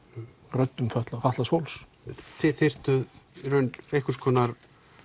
röddum fatlaðs fatlaðs fólks þið þyrftuð í raun einhvers konar